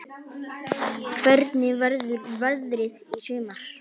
Hvernig verður veðrið í sumar?